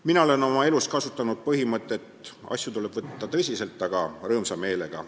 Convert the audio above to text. Mina olen oma elus kasutanud põhimõtet, et asju tuleb võtta tõsiselt, aga rõõmsa meelega.